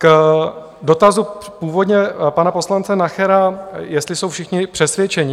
K dotazu původně pana poslance Nachera, jestli jsou všichni přesvědčeni.